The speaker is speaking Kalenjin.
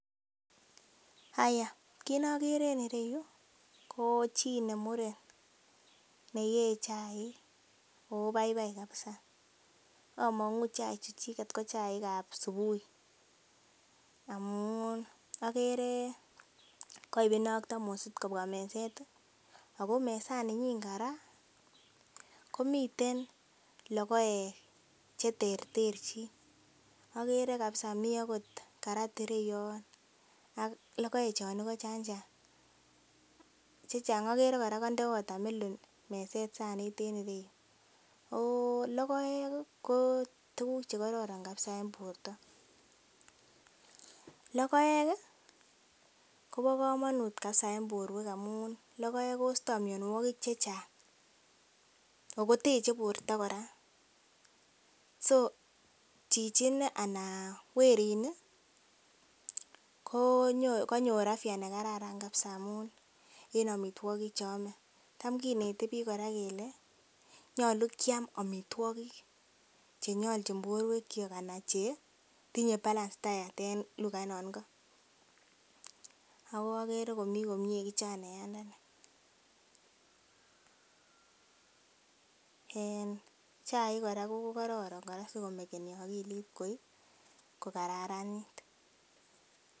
haya Kit nokere en ireyu ko chii nemuren neyee chaik ako baibai kabisa among'u chaik chuchiket ko chaik ab subui amun okere koib inei ak thamosit kobwa meset ih ako mesaninyin kora komiten logoek cheterterchin okere kabisa mi akot carat ireyon ak logoek chon igo chan chang okere kora konde watermelon meset sanit en ireyu ako logoek ih ko tuguk chekoron kabisa en borto logoek ih kobo komonut kabisa en borwek amun logoek kosto mionwogik chechang ako teche borto kora so chichi inei ana werit ni ko kanyor afya nekararan kabisa amun en amitwogik cheome tam kinete biik kora kele nyolu kiam amitwogik chenyolchin borwek kyok anan chetinye balanced diet en lugait non ingo. Ako okere komii komie kijanayandani en chaik kora kokororon kora sikomekeni akilit ko kokararanit